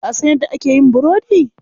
Ka san yadda ake yin burodi?